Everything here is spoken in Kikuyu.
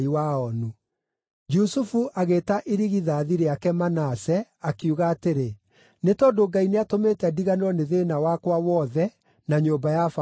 Jusufu agĩĩta irigithathi rĩake Manase, akiuga atĩrĩ, “Nĩ tondũ Ngai nĩatũmĩte ndiganĩrwo nĩ thĩĩna wakwa wothe na nyũmba ya baba yothe.”